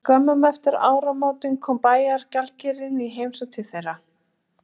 En skömmu eftir áramótin kom bæjargjaldkerinn í heimsókn til þeirra.